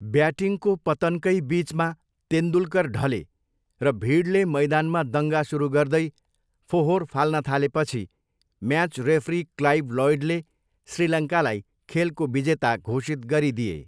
ब्याटिङको पतनकै बिचमा तेन्दुलकर ढले र भिडले मैदानमा दङ्गा सुरु गर्दै फोहोर फाल्न थालेपछि म्याच रेफ्री क्लाइभ लोयडले श्रीलङ्कालाई खेलको विजेता घोषित गरिदिए।